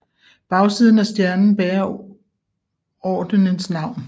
Bagsiden af stjernen bærer ordenens navn